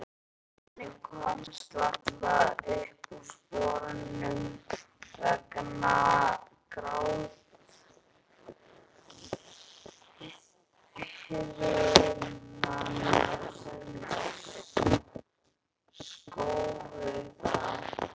Barnið komst varla úr sporunum vegna gráthviðanna sem skóku það.